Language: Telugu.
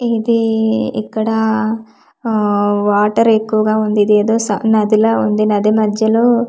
ఇది ఇక్కడ ఆహ్ వాటర్ ఎక్కువగా ఉంది ఇదేదో స నదిలా ఉంది నది మధ్యలో.